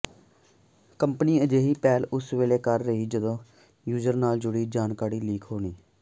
company ਅਜਿਹੀ ਪਹਿਲ ਉਸ ਵੇਲੇ ਕਰ ਰਹੀ ਜਦੋਂ ਯੂਜਰ ਨਾਲ ਜੁੜੀ ਜਾਣਕਾਰੀ ਲੀਕ ਹੋਣ